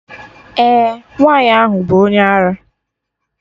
Eh, nwaanyị ahụ bụ onye ara